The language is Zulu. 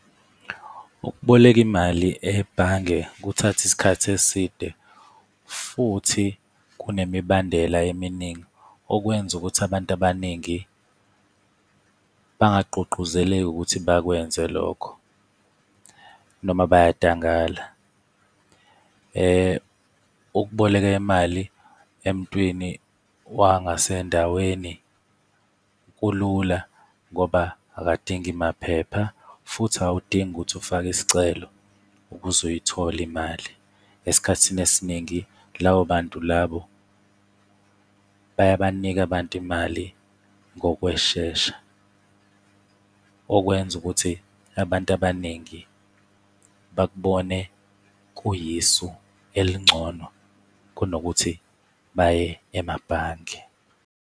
Ukuboleka imali ebhange kuthatha isikhathi eside futhi kunemibandela eminingi, okwenza ukuthi abantu abaningi bangagqugquzeleki ukuthi bakwenze lokho, noma bayadangala. Ukuboleka imali emuntwini wangasendaweni kulula ngoba akadingi maphepha futhi awudingi ukuthi ufake isicelo, ukuze uyithole imali. Esikhathini esiningi labo bantu labo bayabanika abantu imali ngokweshesha, okwenza ukuthi abantu abaningi bakubone kuyisu elingcono kunokuthi baye emabhange.